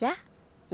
Já?